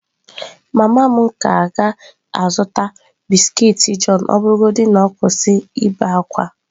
Mama m ka ga-azụta biskiiti john ọ bụrụgodị na ọ kwụsị ibe ákwá.